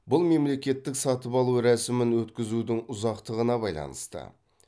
бұл мемлекеттік сатып алу рәсімін өткізудің ұзақтығына байланысты